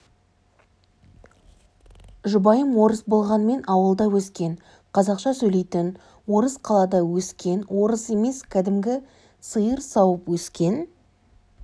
жұбайым орыс болғанмен ауылда өскен қазақша сөйлейтін орыс қалада өскен орыс емес кәдімгі сиыр сауып өскен